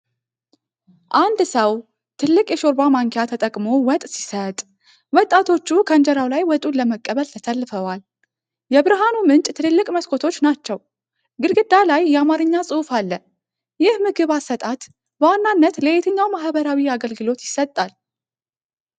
አንድ ሰው ትልቅ የሾርባ ማንኪያ ተጠቅሞ ወጥ ሲሰጥ፣ ወጣቶቹ ከእንጀራው ላይ ወጡን ለመቀበል ተሰልፈዋል። የብርሃኑ ምንጭ ትልልቅ መስኮቶች ናቸው፤ ግድግዳ ላይ የአማርኛ ጽሑፍ አለ። ይህ ምግብ አሰጣጥ በዋናነት ለየትኛው ማኅበራዊ አገልግሎት ይሰጣል?